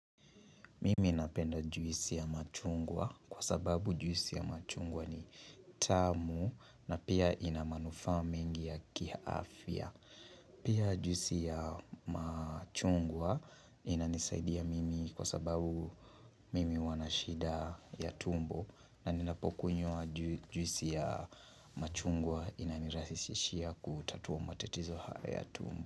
Mimi napenda juisi ya machungwa kwa sababu juisi ya machungwa ni tamu na pia inamanufaa mengi ya kiafya. Pia juisi ya machungwa inanisaidia mimi kwa sababu mimi huwa na shida ya tumbo na ninapokunywa juisi ya machungwa inanirahisishia kutatua matatizo haya tumbo.